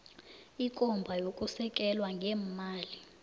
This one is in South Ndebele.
ikomba yokusekela ngeemali